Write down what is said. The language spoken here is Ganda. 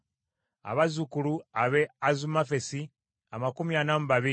abazzukulu ab’e Azumavesi amakumi ana mu babiri (42),